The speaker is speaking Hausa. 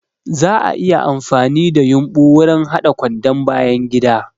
Za'a iya amfani da yumbu wurin haɗa kwandon bayangida.